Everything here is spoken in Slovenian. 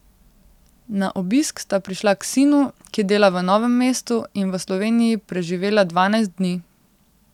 Na obisk sta prišla k sinu, ki dela v Novem mestu, in v Sloveniji preživela dvanajst dni.